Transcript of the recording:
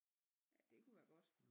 Ja det kunne være godt